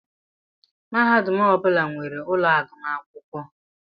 Mahadum ọbula nwèrè úlọ agụmakwụkwọ.